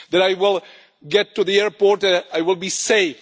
that I will get to the airport and I will be safe